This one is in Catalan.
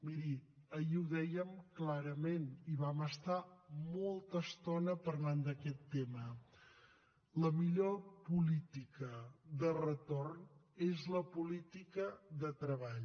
miri ahir ho dèiem clarament i vam estar molta estona parlant d’aquest tema la millor política de retorn és la política de treball